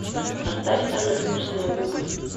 поставь самые вкусные губы